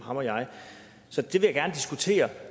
og jeg så det vil jeg gerne diskutere